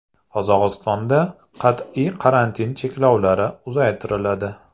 Qozog‘istonda qat’iy karantin chekovlari uzaytiriladi.